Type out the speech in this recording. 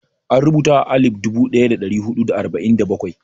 An rubuta a alif dubu ɗaya da ɗari huɗu da arba'in da bakwai.